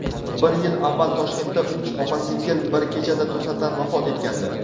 Bir yil avval Toshkentda uch opa-singil bir kechada to‘satdan vafot etgandi.